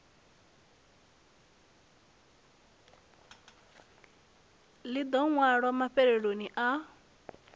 ḽi ḓo ṅwalwa mafheloni a